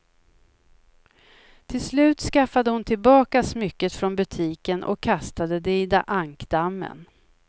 Till slut skaffade hon tillbaka smycket från butiken och kastade det i ankdammen.